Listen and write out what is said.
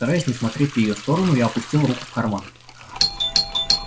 стараясь не смотреть в её сторону я опустил руку в карман